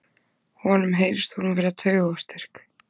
Honum heyrist hún vera taugaóstyrk.